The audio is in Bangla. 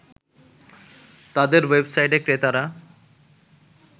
তাদের ওয়েবসাইটে ক্রেতারা